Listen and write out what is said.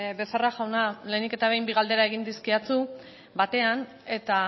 becerra jauna lehenik eta behin bi galdera egin dizkidazu batean eta